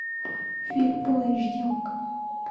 фильм фулл эйч ди окко